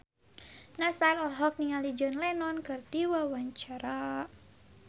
Nassar olohok ningali John Lennon keur diwawancara